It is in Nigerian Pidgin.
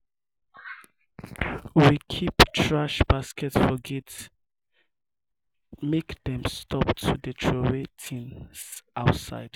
we keep thrash basket for gate make dem stop to dey troway tins outside.